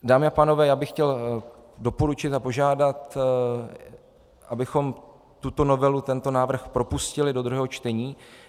Dámy a pánové, já bych chtěl doporučit a požádat, abychom tuto novelu, tento návrh propustili do druhého čtení.